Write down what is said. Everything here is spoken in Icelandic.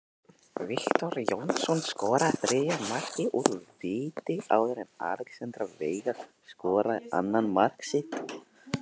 Viktor Jónsson skoraði þriðja markið úr víti áður en Alexander Veigar skoraði annað mark sitt.